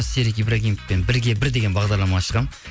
серік ибрагимовпен бірге бір деген бағдарлама ашқанмын